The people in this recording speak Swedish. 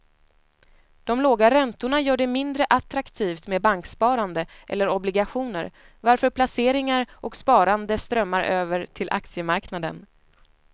De låga räntorna gör det mindre attraktivt med banksparande eller obligationer varför placeringar och sparande strömmar över till aktiemarknaden.